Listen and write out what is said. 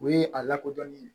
O ye a lakodɔnnen ye